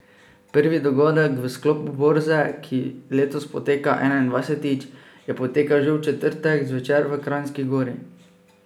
Prvi dogodek v sklopu borze, ki letos poteka enaindvajsetič, je potekal že v četrtek zvečer v Kranjski Gori.